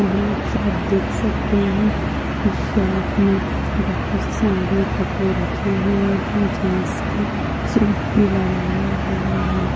यहा एक शॉप देख सकते है इस शॉप मे बहुत सारे कपड़े रखे हुए है जीन्स के सूट भी लगाया हुआ है।